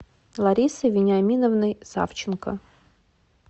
ларисой вениаминовной савченко